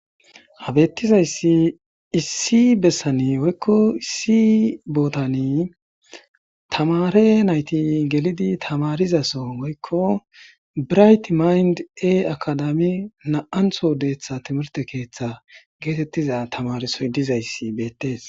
Ha betozausi issi besan woyko issi botan tamare nayti gelidi tamarizaso woyko birayt meyndi heyti akadami nam'antho detha timirte keetha getetiza tamaresoy dizaysi beetes